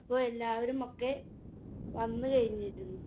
അപ്പൊ എല്ലാവരുമൊക്കെ വന്നു കഴിഞ്ഞിരുന്നു